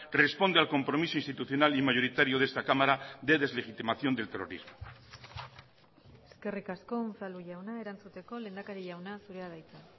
responde al compromiso institucional y mayoritario de esta cámara de deslegitimación del terrorismo eskerrik asko unzalu jauna erantzuteko lehendakari jauna zurea da hitza